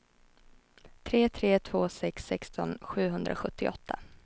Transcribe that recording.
tre tre två sex sexton sjuhundrasjuttioåtta